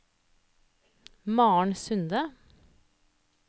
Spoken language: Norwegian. Maren Sunde